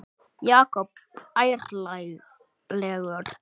Jakob ærlegur